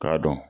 K'a dɔn